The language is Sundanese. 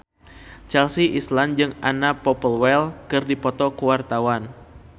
Chelsea Islan jeung Anna Popplewell keur dipoto ku wartawan